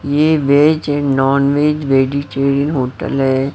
ये veg and nonveg vegetarian hotel है।